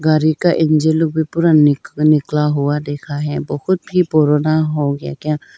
गाड़ी का इंजन लोग भी पूरा निकला हुआ देखा है बहुत ही पुराना हो गया क्या।